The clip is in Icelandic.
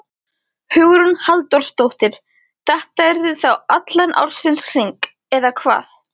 Hugrún Halldórsdóttir: Þetta yrði þá allan ársins hring, eða hvað?